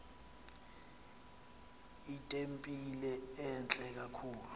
itempile entle kakhulu